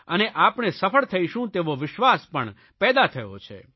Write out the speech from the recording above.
અને આપણે સફળ થઇશું તેવો વિશ્વાસ પણ પેદા થયો છે